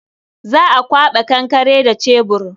Za a kwaɓa kankare da cebur.